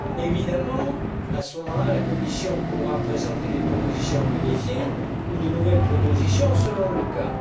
Évidemment, à ce moment là, la Commission pourra présenter des propositions modifiées ou de nouvelles propositions selon le cas.